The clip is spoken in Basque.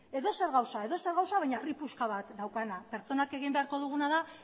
edozer gauza edozer gauza baina harri puska bat daukana pertsonak egin beharko duguna da